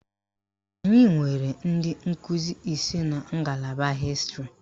Anyị nwere ndị nkụzi ise n'a ngalaba hịstịrị